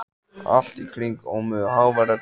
Allt í kring ómuðu háværar drunur.